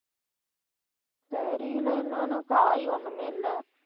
தெரியல, என்னன்னு காய் ஒண்ணுமே இல்ல.